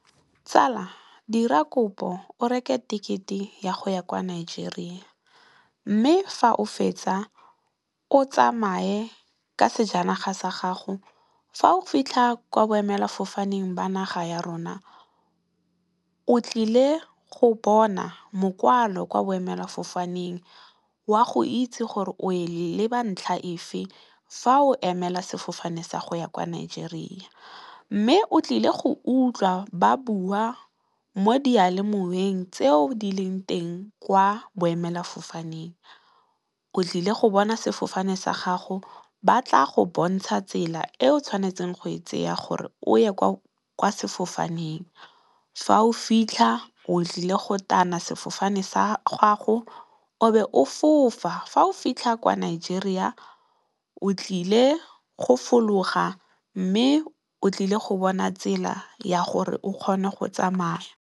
Tsala dira kopo o reke tekete ya go ya kwa Nigeria mme, fa o fetsa o tsamaye ka sejanaga sa gago. Fa o fitlha kwa boemela fofaneng ba naga ya rona o tlile go bona mokwalo kwa boemela fofaneng, wa go itse gore o e leba ntlha efe fa o emela sefofane sa go ya kwa Nigeria. Mme, o tlile go utlwa ba bua mo diyalemoweng tseo di leng teng kwa boemela fofaneng, o tlile go bona sefofane sa gago ba tla go bontsha tsela e o tshwanetseng go e tseya gore o ye kwa sefofaneng. Fa o fitlha o tlile go tana sefofane sa gago o be o fofa, fa o fitlha kwa Nigeria o tlile go fologa mme, o tlile go bona tsela ya gore o kgone go tsamaya yang.